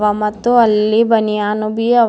ಮತ್ತು ಅಲ್ಲಿ ಬನಿಯಾನು ಬೀ ಅವ.